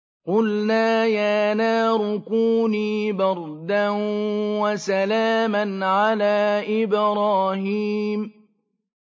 قُلْنَا يَا نَارُ كُونِي بَرْدًا وَسَلَامًا عَلَىٰ إِبْرَاهِيمَ